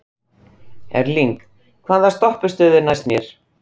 Erling, hvaða stoppistöð er næst mér?